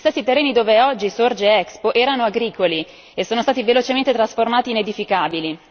Gli stessi terreni dove oggi sorge Expo erano agricoli e sono stati velocemente trasformati in edificabili.